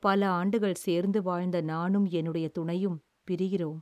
பல ஆண்டுகள் சேர்ந்து வாழ்ந்த நானும் என்னுடைய துணையும் பிரிகிறோம்.